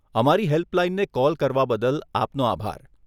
અમારી હેલ્પલાઈનને કોલ કરવા બદલ આપનો આભાર.